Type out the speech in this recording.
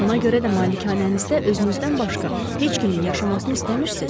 Ona görə də malikanənizdə özünüzdən başqa heç kimin yaşamasını istəmirsiz?